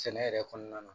Sɛnɛ yɛrɛ kɔnɔna na